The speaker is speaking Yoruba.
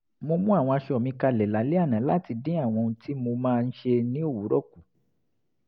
mo mú àwọn aṣọ mi kalẹ̀ lálẹ́ àná láti dín àwọn ohun tí mo máa ń ṣe ní òwúrọ̀ kù